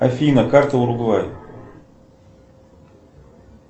афина карта уругвая